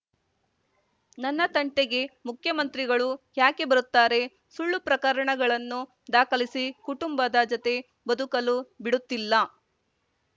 ನನ್ನ ತಂಟೆಗೆ ಮುಖ್ಯಮಂತ್ರಿಗಳು ಯಾಕೆ ಬರುತ್ತಾರೆ ಸುಳ್ಳು ಪ್ರಕರಣಗಳನ್ನು ದಾಖಲಿಸಿ ಕುಟುಂಬದ ಜತೆ ಬದುಕಲು ಬಿಡುತ್ತಿಲ್ಲ